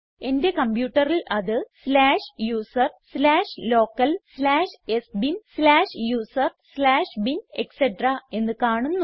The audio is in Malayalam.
എന്റെ കംപ്യൂട്ടറിൽ അത് slash user slash local slash sbin slash user slash bin etc എന്ന് കാണുന്നു